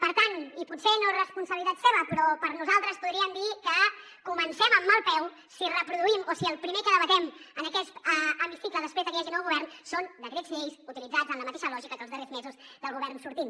per tant i potser no és responsabilitat seva però per nosaltres podríem dir que comencem amb mal peu si reproduïm o si el primer que debatem en aquest hemicicle després de que hi hagi nou govern són decrets lleis utilitzats en la mateixa lògica que els darrers mesos del govern sortint